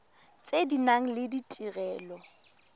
tse di nang le ditirelo